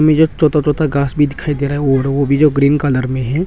में जो छोटा छोटा घास भी दिखाई दे रहा है और वो भी जो ग्रीन कलर में है।